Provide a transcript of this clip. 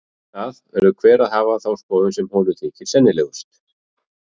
Um það verður hver að hafa þá skoðun sem honum þykir sennilegust.